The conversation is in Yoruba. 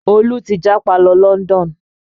Olú ti japa lọ London